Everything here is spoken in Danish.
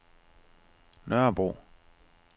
Nørrebro